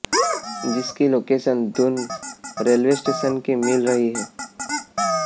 जिसकी location Doon railway station की मिल रही है